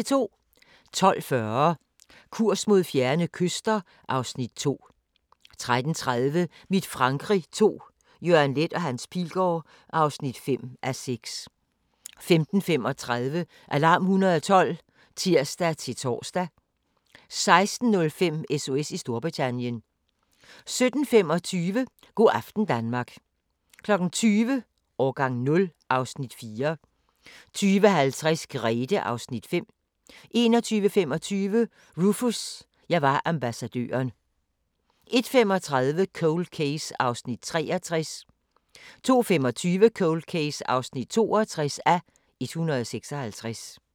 12:40: Kurs mod fjerne kyster (Afs. 2) 13:30: Mit Frankrig II – Jørgen Leth & Hans Pilgaard (5:6) 15:35: Alarm 112 (tir-tor) 16:05: SOS i Storbritannien 17:25: Go' aften Danmark 20:00: Årgang 0 (Afs. 4) 20:50: Grethe (Afs. 5) 21:25: Rufus – jeg var ambassadøren 01:35: Cold Case (63:156) 02:25: Cold Case (62:156)